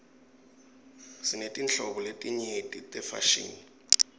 sinetinhlobo letenyeti tefashini